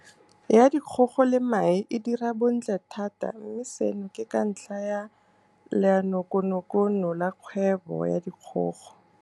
ya Dikgogo le Mae e dira bontle thata mme seno ke ka ntlha ya Leanokonokono la Kgwebo ya Dikgogo.